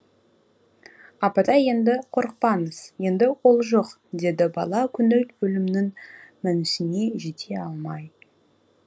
апатай енді қорықпаңыз енді ол жоқ деді бала көңіл өлімнің мәнісіне жете алмай